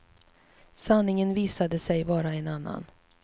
Sanningen visade sig vara en annan.